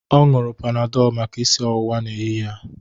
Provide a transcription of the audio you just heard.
Ọ ṅụrụ panadọlụ maka isi ọwụwa n'ehihie a.